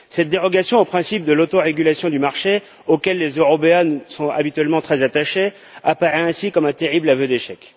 Cette dérogation au principe de l'autorégulation du marché, auquel les Européens sont habituellement très attachés, apparaît ainsi comme un terrible aveu d'échec.